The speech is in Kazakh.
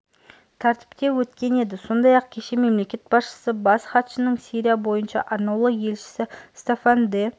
тәртіпте өткен еді сондай-ақ кеше мемлекет басшысы бас хатшысының сирия бойынша арнаулы елшісі стаффан де